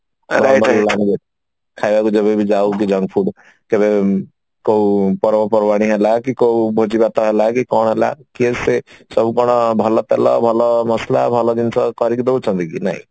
ଖାଇବାକୁ ଯେବେ ବି ଯାଉ କେବେ କୋଉ ପର୍ବପର୍ବାଣି ହେଲା କି କୋଉ ଭୋଜି ଭାତ ହେଲା କି କଣ ହେଲା କିଏ ସେ ସବୁ କଣ ଭଲ ତେଲ ଭଲ ମସଲା ଭଲ ଜିନିଷ କରିକି ଦଉଛନ୍ତି କି ନାଇଁ